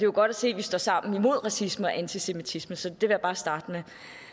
jo godt se at vi står sammen imod racisme og antisemitisme så det vil jeg bare starte med